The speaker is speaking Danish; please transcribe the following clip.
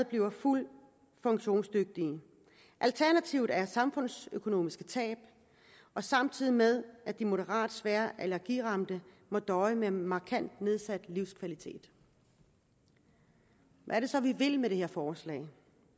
bliver fuldt funktionsdygtige alternativet er samfundsøkonomiske tab samtidig med at de moderat svært allergiramte må døje med markant nedsat livskvalitet hvad er det så vi vil med det her forslag vi